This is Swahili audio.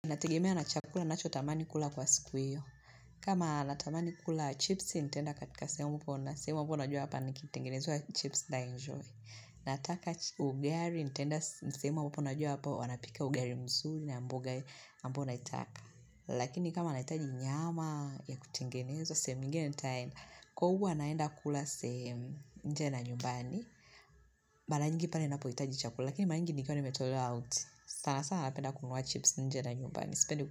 Inategemea na chakula, ninachotamani kula kwa siku hiyo. Kama natamani kukula chips, nitaenda katika sehemu poa na, semu ambao najua hapa nikitengenezwa chips ntaenjoy. Nataka ugali nitaenda sehemu ambapo najua hapo wanapika ugali mzuri na mboga ambayo ninaitaka. Lakini kama nahitaji nyama ya kutengenezwa, sehemu nyingine nitaenda, kwa huwa naenda kula sehemu nje na nyumbani. Mara nyingi pale ninapohitaji chakula, lakini mara nyingi nikiwa nimetolewa out. Sana sana napenda kununua chips nje na nyumbani, sipendi.